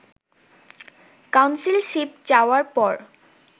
councilship চাওয়ার পর